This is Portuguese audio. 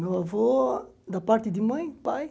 Meu avô, da parte de mãe, pai.